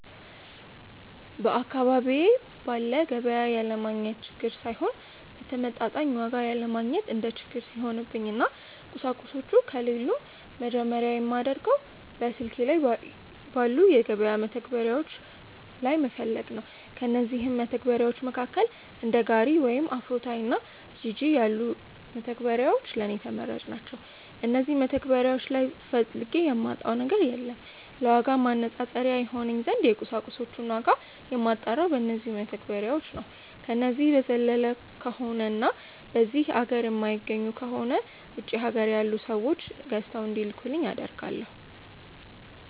በአካባቢዬ ባለ ገቢያ ያለማግኘት ችግር ሳይሆን በተመጣጣኝ ዋጋ ያለማግኘት እንደ ችግር ሲሆንብኝ እና ቁሳቁሶቹ ከሌሉም መጀመርያ የማደርገው በስልኬ ባሉ የገበያ መተግበሪያዎች ላይ መፈለግ ነው። ከእነዚህም መተግበርያዎች መካከል እንደ ጋሪ ወይም አፍሮታይ እና ጂጂ ያሉት መተግበሪያዎች ለኔ ተመራጭ ናቸዉ። እነዚህ መተግበሪያዎች ላይ ፈልጌ የማጣው ነገር የለም። ለዋጋ ማነፃፀሪያ ይሆነኝ ዘንድ የቁሳቁሶችን ዋጋ የማጣራው በነዚው መተግበሪያዎች ነው። ከነዚህ በዘለለ ከሆነ እና በዚህ ሀገር የማይገኙ ከሆነ ውጪ ሀገር ያሉ ሰዎች ገዝተው እንዲልኩልኝ አደርጋለው።